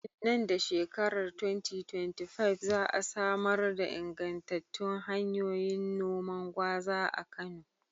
Nan da shekarar 2025, za a samar da ingantattun hanyoyin noman gwaza a Kano.